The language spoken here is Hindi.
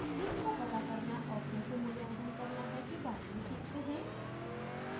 themes का पता करना और कैसे मूल्यांकन करना है के बारे में सीखते हैं